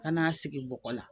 Ka n'a sigi bɔgɔ la